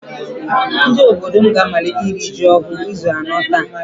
Ndị obodo m ga-amalite iri ji ọhụụ izu anọ taa